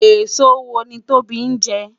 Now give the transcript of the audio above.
Esó wó ni Tobi njè?